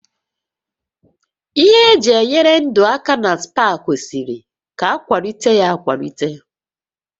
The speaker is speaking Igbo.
Ihe eji enyere ndụ aka na spa kwesịrị ka akwalite ya akwalite